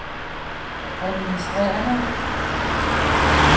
administrerende